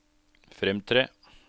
fremtre